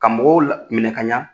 ƝKa mɔgɔw minɛ kaɲa